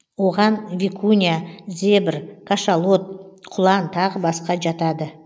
оған викунья зебр кашалот құлан тағы басқа жатады